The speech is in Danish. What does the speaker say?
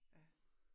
Ja